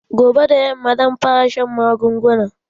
Gobe da yamma zan fara shan magungunan